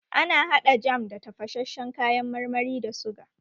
Ana haɗa jam da tafashashen kayan marmari da suga